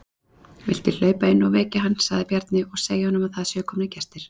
Viltu hlaupa inn og vekja hann, sagði Bjarni,-og segja honum að það séu komnir gestir.